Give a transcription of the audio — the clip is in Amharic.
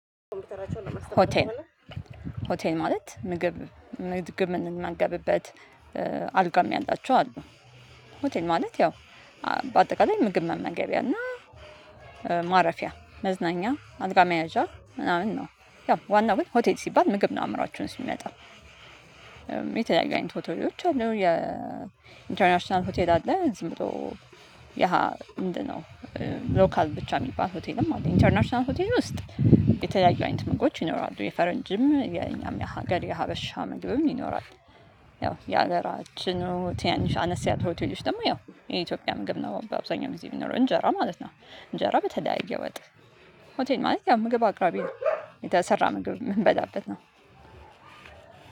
ሆቴል ሆቴል ማለት ምግብ ምግብ እምንመገብበት አልጋም ያላችሁ አሉ። ሆቴል ማለት ያው በአጠቃላይ ምግብ መመገቢያ እና ማረፊያ መዝናኛ አልጋ መያዣ ምናምን ነው። ያው ዋናው ግን ሆቴት ሲባል ምግብ ነው አእምሮአችን ውስጥ እሚመጣው። የተለያዩ አይነት ሆቴሎች አሉ የኢንተርናሽናል ሆቴል አለ ዝም ብሎ ምንድነው? ሎካል ብቻ እሚባል ሆቴልም አለ ኢንተርናሽናል ሆቴል ውስጥ የተለያዩ አይነት ምግቦች ይኖራሉ የፈረንጅም የኛም የሀገር የሀበሻ ምግብም ይኖራል። ያው የሀገራችን ትናንሽ አነስ ያሉ ሆቴሎች ደግሞ ያው የኢትዮጵያ ምግብ ነው በአብዛኛው ጊዜ እሚኖረው እንጀራ ማለት ነው። እንጀራ በተደያየ ወጥ ሆቴል ማለት ያው ምግብ አቅራቢ ነው። የተሰራ ምግብ እምንበዳበት ነው።